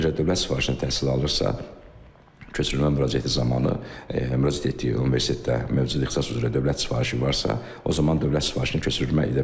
Əgər dövlət sifarişinə təhsil alırsa, köçürülmə müraciəti zamanı müraciət etdiyi universitetdə mövcud ixtisas üzrə dövlət sifarişi varsa, o zaman dövlət sifarişinə köçürülmə edə bilər.